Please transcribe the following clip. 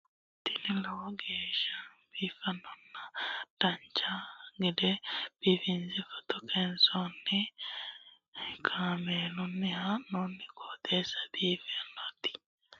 tini lowo geeshsha biiffannoti dancha gede biiffanno footo danchu kaameerinni haa'noonniti qooxeessa biiffannoti tini kultannori maatiro seekkine la'niro biiffannota faayya ikkase kultannoke misileeti yaate